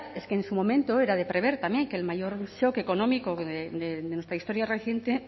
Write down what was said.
es que en su momento era de prever también que el mayor económico de nuestra historia reciente